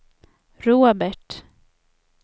Robert